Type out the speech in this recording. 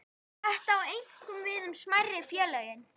Þetta á einkum við um smærri félögin.